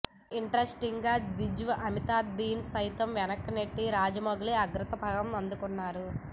interesting గా Big B అమితాబ్ని సైతం వెనక్కి నెట్టి రాజమౌళి అగ్రపథం అందుకున్నారు